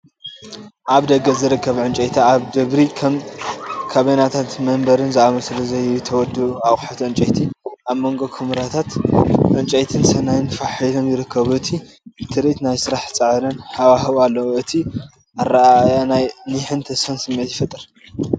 ኣብ ደገ ዝርከብ ዕንጨይቲ ኣብ ደብሪ ከም ካቢነታትን መንበርን ዝኣመሰሉ ዘይተወድኡ ኣቑሑት ዕንጨይቲ ኣብ መንጎ ኵምራታት ዕንጨይትን ስርናይን ፋሕ ኢሎም ይርከቡ። እቲ ትርኢት ናይ ስራሕን ጻዕርን ሃዋህው ኣለዎ። እቲ ኣረኣእያ ናይ ኒሕን ተስፋን ስምዒት ይፈጥር።